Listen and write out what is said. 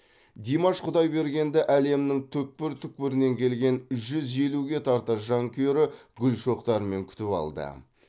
димаш құдайбергенді әлемнің түкпір түкпірінен келген жүз елуге тарта жанкүйері гүл шоқтарымен күтіп алды